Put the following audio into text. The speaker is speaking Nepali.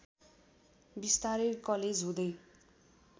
बिस्तारै कलेज हुँदै